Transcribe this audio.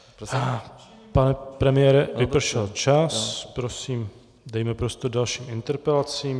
Pane premiére, vypršel čas, prosím, dejme prostor dalším interpelacím.